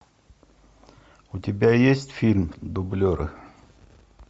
у тебя есть фильм дублеры